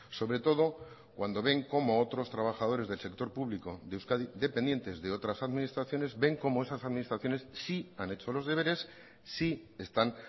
sobre todo cuando ven cómo otros trabajadores del sector público de euskadi dependientes de otras administraciones ven cómo esas administraciones sí han hecho los deberes sí están